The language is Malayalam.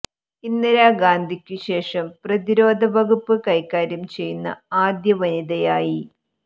ഇന്ദിരാ ഗാന്ധിക്കു ശേഷം പ്രതിരോധ വകുപ്പ് കൈകാര്യം ചെയ്യുന്ന ആദ്യ വനിതയായി